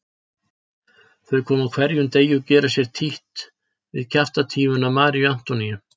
Þau koma á hverjum degi og gera sér títt við kjaftatífuna Maríu Antoníu.